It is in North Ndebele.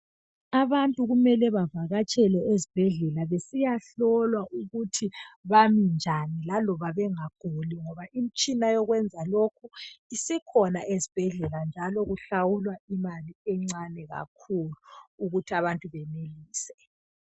Abantu kumele bavatshele ezibhedlela besiyehlolwa ukuthi bami njani laloba bengaguli ngoba imitshina yokwenza lokhu isikhona ezibhedlela njalo kuhlawulwa imali encane kakhulu ukuthi abantu benelise.